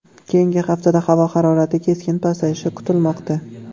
Keyingi haftada havo harorati keskin pasayishi kutilmoqda.